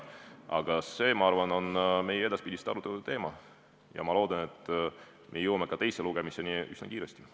Aga see, ma arvan, on edaspidiste arutelude teema ja ma loodan, et me jõuame ka teisele lugemisele üsna kiiresti.